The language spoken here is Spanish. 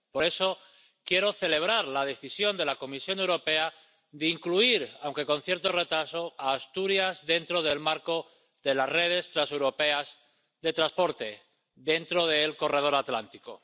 Por eso quiero celebrar la decisión de la Comisión Europea de incluir, aunque con cierto retraso, a Asturias dentro del marco de las redes transeuropeas de transporte, dentro del Corredor Atlántico.